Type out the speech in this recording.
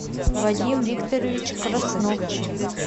вадим викторович краснов